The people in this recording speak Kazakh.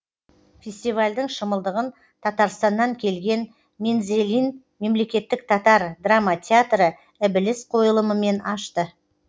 фестивальдің шымылдығын татарстаннан келген мензелин мемлекеттік татар драма театры ібіліс қойылымымен ашты